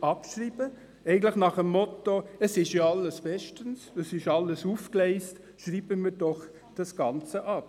abschreiben will, ganz nach dem Motto «Es ist alles bestens und es ist alles aufgegleist, schreiben wir das Ganze ab.